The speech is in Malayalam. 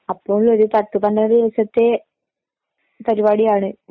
അപ്പോ ഇതൊരു പത്ത് പന്ത്രണ്ട് ദിവസത്തെ പരിപാടിയാണ്.